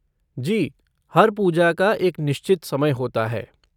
जी, हर पूजा का एक निश्चित समय होता है।